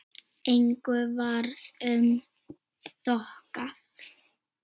Engu varð um þokað.